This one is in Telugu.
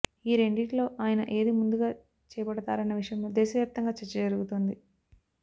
ఈ రెండింటిలో ఆయన ఏది ముందుగా చేపడతారన్న విషయంలో దేశవ్యాప్తంగా చర్చ జరుగుతోంది